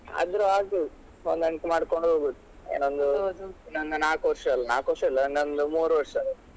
ಆದ್ರು ಆಗಬೋದು ಹೊಂದಾಣಿಕೆ ಮಾಡ್ಕೊಂಡು ಹೋಗುದು ಏನೋ ಇನ್ನು ಒಂದ್ ನಾಕು ವರ್ಷ ಅಲ ನಾಕು ವರ್ಷ ಅಲ್ಲ ಇನ್ನೊಂದು ಮೂರೂ ವರ್ಷ.